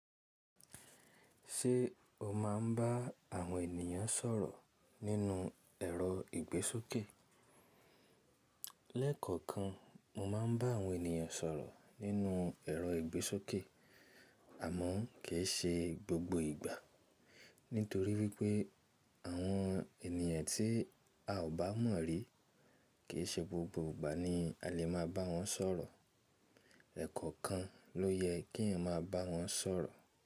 Ṣé o máa ń bá àwọn ènìyàn sọ̀rọ̀ nínú ẹ̀rọ ìgbésókè? Lẹ́kọ̀ọ̀kan mo máa ń bá àwọn ènìyàn sọ̀rọ̀ nínú ẹ̀rọ ìgbésókè àmọ́ kì í ṣe gbogbo ìgbà. Nítorí wípé àwọn ènìyàn tí a ò bá mọ̀ rí kì í ṣe gbogbo ìgbà ni a lè máa bá wọn sọ̀rọ̀. Ẹ̀kọ̀ọ̀kan ló yẹ kí èèyàn máa bá wọn sọ̀rọ̀.